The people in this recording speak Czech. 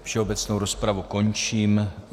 Všeobecnou rozpravu končím.